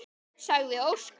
sagði Óskar.